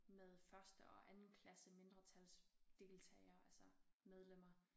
Med første og andenklasse mindretalsdeltagere altså medlemmer